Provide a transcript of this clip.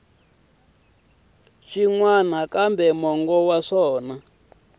swin wana kambe mongo wa